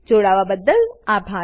જોડાવાબદ્દલ આભાર